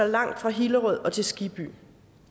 langt fra hillerød til skibby